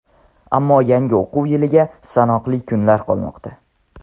Ammo yangi o‘quv yiliga sanoqli kunlar qolmoqda.